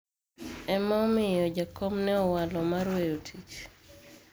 ema omiyo jakom ne owalo mar weyo tich